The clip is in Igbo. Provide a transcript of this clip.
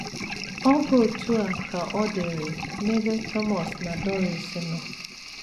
Ọ bụ otú a ka ọ dịịrị n’ebe Thomas na Doris nọ.